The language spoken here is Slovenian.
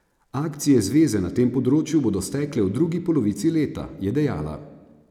Akcije zveze na tem področju bodo stekle v drugi polovici leta, je dejala.